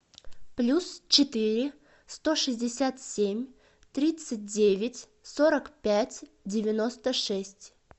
плюс четыре сто шестьдесят семь тридцать девять сорок пять девяносто шесть